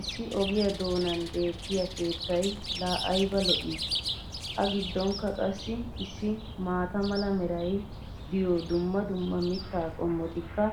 issi ogiyaa doonan beetiya keettay laa ayba lo'ii! a giddonkka qassi issi maata mala meray diyo dumma dumma mitaa qommotikka